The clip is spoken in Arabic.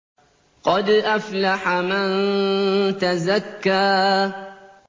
قَدْ أَفْلَحَ مَن تَزَكَّىٰ